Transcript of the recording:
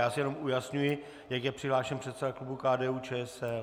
Já si jenom ujasňuji, jak je přihlášen předseda klubu KDU-ČSL.